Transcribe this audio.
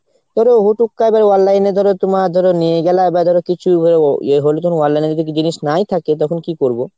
ধরো হুট হুট কারো online এ ধরো তোমার নিয়ে গেলা বা ধরো কিছু হলো ইয়ে হলো ধরো online এ জিনিস নাই থাকে তখন কী করবো ?